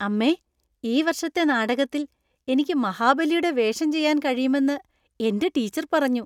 അമ്മേ, ഈ വർഷത്തെ നാടകത്തിൽ എനിക്ക് മഹാബലിയുടെ വേഷം ചെയ്യാൻ കഴിയുമെന്ന് എന്‍റെ ടീച്ചർ പറഞ്ഞു.